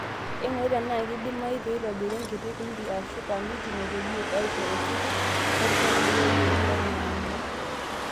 Eng'urae tenaa kidimayu peeitobiri enkiti kundi ashu kamitii naitorrie aisho esipil, werishata edukuya iyeunot oormalimuni.